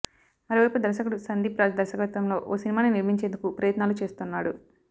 మరోవైపు దర్శకుడు సందీప్ రాజ్ దర్శకతంలో ఓ సినిమాని నిర్మించేందుకు ప్రయత్నాలు చేస్తున్నాడు